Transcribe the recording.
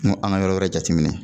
N ko an ka yɔrɔ wɛrɛ jateminɛ.